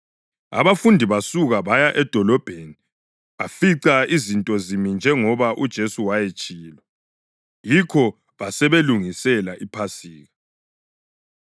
Abafundi basuka baya edolobheni bafica izinto zimi njengoba uJesu wayetshilo. Yikho basebelungisela iPhasika.